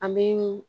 An bɛ